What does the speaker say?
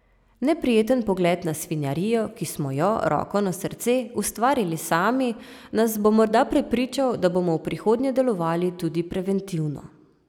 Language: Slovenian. Neprijeten pogled na svinjarijo, ki smo jo, roko na srce, ustvarili sami, nas bo morda prepričal, da bomo v prihodnje delovali tudi preventivno.